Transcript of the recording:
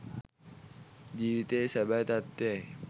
ජීවිතයේ සැබෑ තත්ත්වය යි.